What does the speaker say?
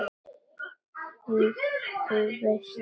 Jú, þú veist það víst.